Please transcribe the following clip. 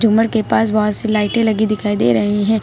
झूमर के पास बहोत सी लाइटें लगी दिखाई दे रही हैं।